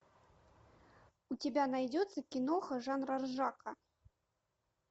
у тебя найдется киноха жанра ржака